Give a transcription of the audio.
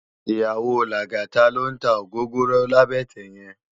Iyàwó Lagata ló n tá ógógóró làbètè yèn